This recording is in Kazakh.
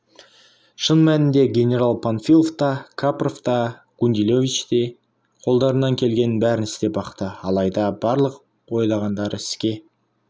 шын мәнінде генерал панфилов та капров та гундилович те қолдарынан келгеннің бәрін істеп бақты алайда барлық ойлағандары іске